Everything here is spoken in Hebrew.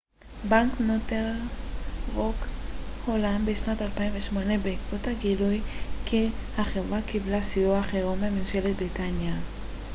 בנק נורת'ן רוק הולאם בשנת 2008 בעקבות הגילוי כי החברה קיבלה סיוע חירום מממשלת בריטניה